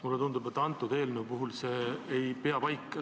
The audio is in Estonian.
Mulle tundub, et selle eelnõu puhul see pole õigustatud.